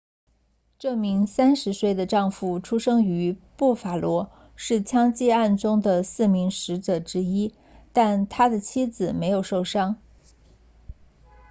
这名30岁的丈夫出生于布法罗是枪击案中的四名死者之一但他的妻子没有受伤